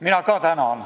Mina ka tänan.